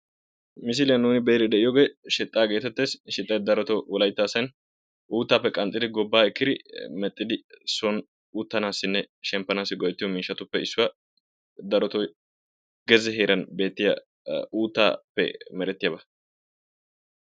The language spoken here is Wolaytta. Misiliyan nuuni be"iyoogee shixxaa geetettes. Shixxay daroto wolayitta asay uuttaappe qaxcidi gobbaa ekkidi mexxidi son uttanaassinne shemppanaassi go"ettiyo miishatuppe issuwa. Daroto gezze heeran beettiya uuttaappe merettiyaba.